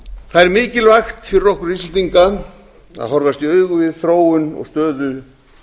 það er mikilvægt fyrir okkur íslendinga að horfast í augu við þróun og stöðu